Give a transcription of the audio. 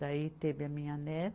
Daí teve a minha